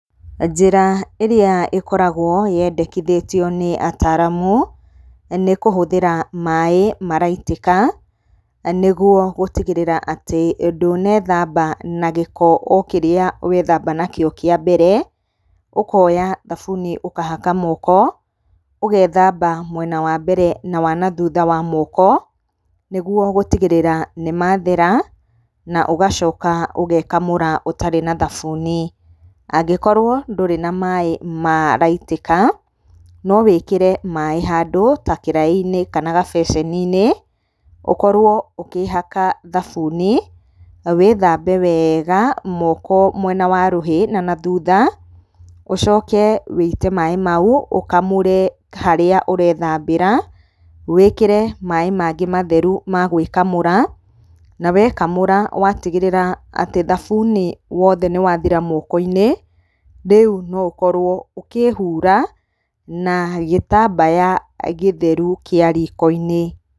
Njĩra ĩrĩa ĩkoragwo yendekithĩtio nĩ ataramu, nĩ kũhũthĩra maĩ maraitĩka, nĩguo gũtigĩrĩra atĩ ndũnethamba na gĩko o kĩrĩa wethamba nakĩo kĩa mbere. Ũkoya thabuni ũkahaka moko, ũgethamba mwena wa mbere na wa na thutha wa moko, nĩguo gĩtigĩrĩra atĩ nĩ mathera, na ũgacoka ũgekamũra ũtarĩ na thabuni. Angĩkorwo ndũrĩ na maĩ maraitĩka, no wĩkĩre maĩ handũ ta kĩraĩ-inĩ, kana gabeceni-inĩ, ũkorwo ũkĩhaka thabuni, wĩ thambe wega moko mwena wa rũhĩ na na thutha, ũcoke wuite maĩ mau , ũkamũre harĩa ũrethambĩra, wĩkĩre maĩ mangĩ matheru magwikamũra, na wekamũra watigĩrĩra atĩ thabuni wothe nĩ wathira moko-inĩ, rĩu no ũkorwo ũkĩhura na gĩtambaya gĩtheru kĩa riko-inĩ.